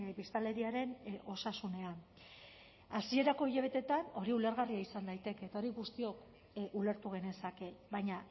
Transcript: biztanleriaren osasunean hasierako hilabeteetan hori ulergarria izan daiteke eta hori guztiok ulertu genezake baina